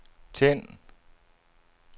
tænd